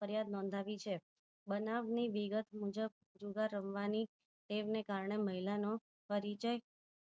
ફરિયાદ નોધાવી છે બનાવ ની વિગત મુજબ જુગાર રમવાની ટેવ ની કારણે મહિલા નો પરિચય